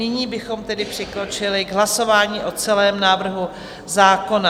Nyní bychom tedy přikročili k hlasování o celém návrhu zákona.